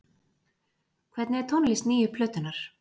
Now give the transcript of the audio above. Hvernig er tónlist nýju plötunnar?